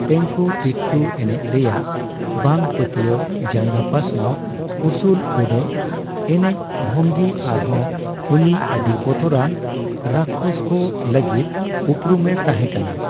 ᱛᱮᱝᱠᱩᱛᱤᱴᱴᱩ ᱮᱱᱮᱡ ᱨᱮᱭᱟᱜ ᱵᱟᱝ ᱯᱟᱹᱛᱭᱟᱹᱣ ᱡᱟᱸᱜᱟ ᱯᱟᱥᱱᱟᱣ, ᱩᱥᱩᱞᱼᱩᱰᱟᱹᱜ ᱮᱱᱮᱡ ᱵᱷᱚᱝᱜᱤ ᱟᱨᱦᱚᱸ ᱩᱱᱤ ᱟᱹᱰᱤ ᱵᱚᱛᱚᱨᱟᱱ ᱨᱟᱠᱠᱷᱚᱥᱠᱚ ᱞᱟᱹᱜᱤᱫ ᱩᱯᱨᱩᱢᱮ ᱛᱟᱦᱮᱸᱠᱟᱱᱟ ᱾